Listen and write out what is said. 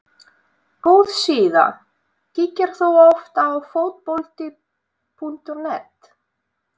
Góð síða Kíkir þú oft á Fótbolti.net?